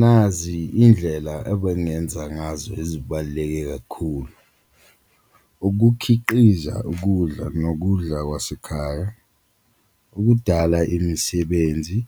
Nazi indlela ebengenza ngazo ezibaluleke kakhulu, ukukhiqiza ukudla nokudla kwasekhaya, ukudala imisebenzi,